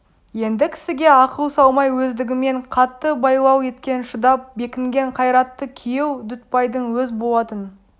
енді кісіге ақыл салмай өздігімен қатты байлау еткен шыдап бекінген қайратты күйеу дүтбайдың өз болатын